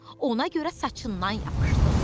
Ona görə saçından yapışdım.